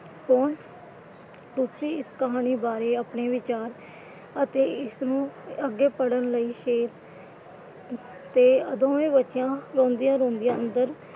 ਕੌਣ ਤੁਸੀਂ ਇਸ ਕਹਾਣੀ ਬਾਰੇ ਆਪਣੇ ਵਿਚਾਰ ਅਤੇ ਇਸਨੂੰ ਅੱਗੇ ਪੜ੍ਹਨ ਲਈ ਤੇ ਦੋਵੇਂ ਬੱਚੀਆਂ ਰੋਂਦੀਆਂ ਰੋਂਦੀਆਂ ਅੰਦਰ,